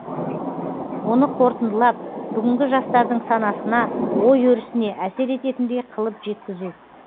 оны қорытындылап бүгінгі жастардың санасына ой өрісіне әсер ететіндей қылып жеткізу